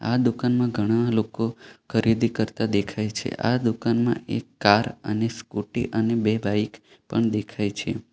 આ દુકાનમાં ઘણા લોકો ખરીદી કરતા દેખાય છે આ દુકાનમાં એક કાર અને સ્કુટી અને બે બાઈક પણ દેખાય છે.